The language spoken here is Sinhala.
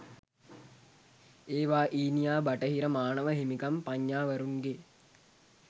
ඒවා ඊනියා බටහිර මානව හිමිකම් පඤ්ඤාවරුන්ගේ